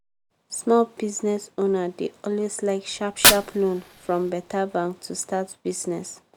small business owner dey always like sharp-sharp loan from beta bank to start business.